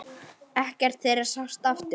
Ekkert þeirra sást aftur.